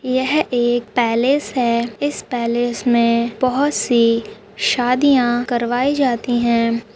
यह एक पॅलेस है इस पॅलेस में बहुत सी शादियां करवाई जाती है।